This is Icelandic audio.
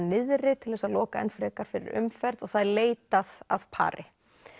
niðri til þess að loka enn frekar fyrir umferð og það er leitað að pari